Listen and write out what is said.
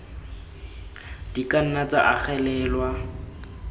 di ka nna tsa agelelwa